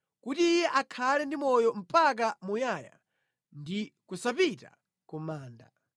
kuti iye akhale ndi moyo mpaka muyaya ndi kusapita ku manda.